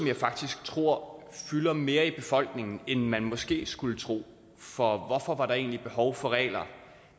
jeg faktisk tror fylder mere i befolkningen end man måske skulle tro for hvorfor var der egentlig behov for regler